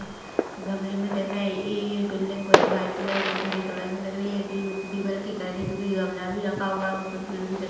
गमले मे दिख रहा हे ये बिल्डिंग कुछ व्हाइट कलर कुछ हरे कलर मे दिख रही हे करके जोकी गमला भी रखा हुआ उसमे पेड़ भी दिख--